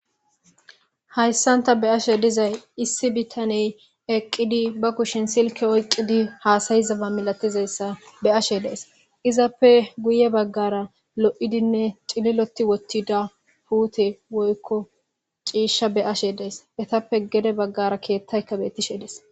Hayssanta be ashe dizay issi bitaney eqqidi ba kushin silke oyqidi haasayizaba milatizayssa be ashe dees izappe guye baggara lo'idinne cililoti wottida huute woykko ciishsha be ashe dees etappe gede baggara keettayka bettishe dees.